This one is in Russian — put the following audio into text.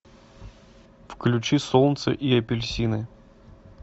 включи солнце и апельсины